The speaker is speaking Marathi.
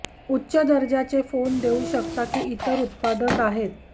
उच्च दर्जाचे फोन देऊ शकता की इतर उत्पादक आहेत